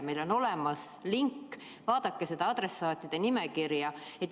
Meil on olemas link, vaadake seda adressaatide nimekirja.